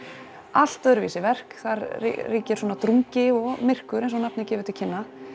allt öðruvísi verk þar ríkir svona drungi og myrkur eins og nafnið gefur til kynna